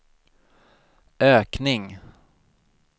ökning